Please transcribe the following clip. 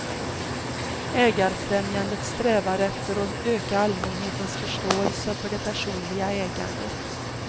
Ägarfrämjandet strävar efter att öka allmänhetens förståelse för det personliga ägandet.